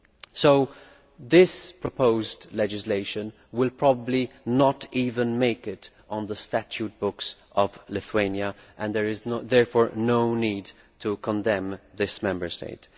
So this proposed legislation will probably not even make it onto the statute book of Lithuania and therefore there is no need to condemn this Member State.